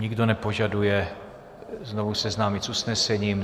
Nikdo nepožaduje znovu seznámit s usnesením.